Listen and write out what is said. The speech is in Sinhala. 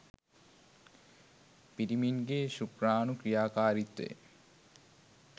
පිරිමන්ගේ ශුක්‍රාණු ක්‍රියාකාරීත්වය